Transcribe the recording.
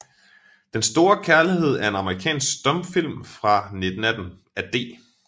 Den store Kærlighed er en amerikansk stumfilm fra 1918 af D